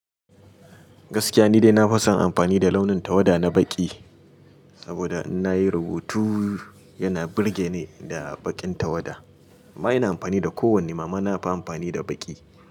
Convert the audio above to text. Gaskiya ni dai na fi son amfani da launin tawada na baƙi, saboda in na yi rubutu yana burge ni da baƙin tawada. Ma ina amfani da kowanne, amma na fi amfani da baƙi.